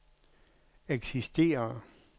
eksisterer